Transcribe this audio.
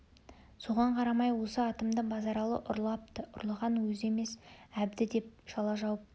соған қарамай осы атымды базаралы ұрлапты ұрлаған өзі емес әбді деп жала жауыпты